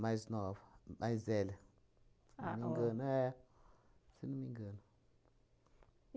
mais nova, mais velha, se não me engano. É. Se não me engano.